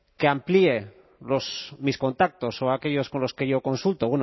que amplíe los mis contactos o aquellos con los que yo consulto